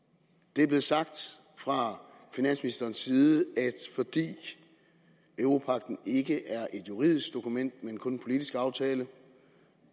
det er blevet sagt fra finansministerens side at fordi europagten ikke er et juridisk dokument men kun en politisk aftale